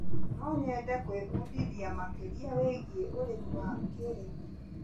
No nyende gwĩbundithia makĩria wĩgiĩ ũrĩmi wa kĩrĩu.